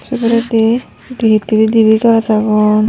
Se poredi di hittedi deebey gach agon.